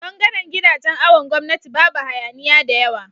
bangaran gidajan awon gwamnati Babu hayaniya da yawa